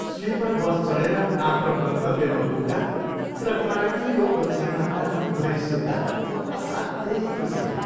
Sleeper bus चढेर आफ्नो गन्तब्यमा पुग्दा र फराकिलो ओछ्यानमा रातभरि सुत्दा म असाध्यै खुसी भएँ।